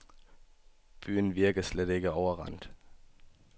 Byen virker slet ikke overrendt.